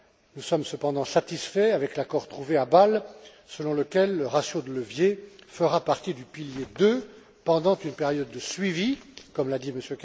Nous sommes cependant satisfaits de l'accord trouvé à Bâle, selon lequel le ratio de levier fera partie du pilier II pendant une période de suivi, comme l'a dit